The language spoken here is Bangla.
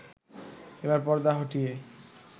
এবার পর্দা হটিয়ে